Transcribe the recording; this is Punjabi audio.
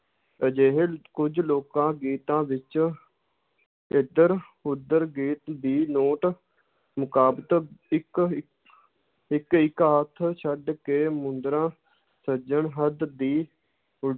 ਅਜਿਹੇ ਕੁੱਝ ਲੋਕਾਂ ਗੀਤਾਂ ਵਿੱਚ ਇੱਧਰ ਉੱਧਰ ਗੀਤ ਦੀ ਮੁਤਾਬਕ ਇੱਕ ਇੱ~ ਇੱਕ ਇੱਕ ਹੱਥ ਛੱਡ ਕੇ ਮੁਦਰਾ ਸਿਰਜਣ ਹਿਤ ਦੀ ਉ~